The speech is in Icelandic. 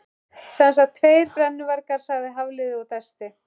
Sem sagt, tveir brennuvargar sagði Hafliði og dæsti.